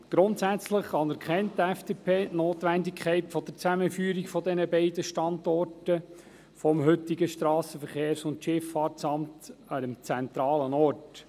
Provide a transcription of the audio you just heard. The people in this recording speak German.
Grundsätzlich anerkennt die FDP die Notwendigkeit der Zusammenführung der beiden Standorte des heutigen SVSA an einem zentralen Ort.